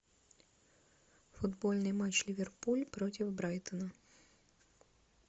футбольный матч ливерпуль против брайтона